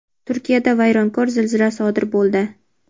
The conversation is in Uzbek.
Turkiyada vayronkor zilzila sodir bo‘ldi.